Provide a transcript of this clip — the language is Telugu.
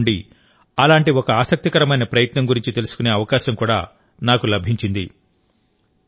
తమిళనాడు నుండి అలాంటి ఒక ఆసక్తికరమైన ప్రయత్నం గురించి తెలుసుకునే అవకాశం కూడా నాకు లభించింది